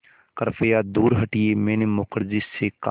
कृपया दूर हटिये मैंने मुखर्जी से कहा